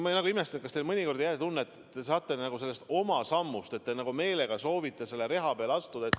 Ma imestan, et kas te nagu meelega soovite selle reha peale astuda.